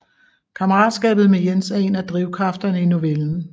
Kammeratskabet med Jens er en af drivkræfterne i novellen